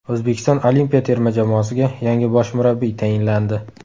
O‘zbekiston olimpiya terma jamoasiga yangi bosh murabbiy tayinlandi.